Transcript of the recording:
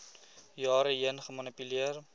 jare heen gemanipuleer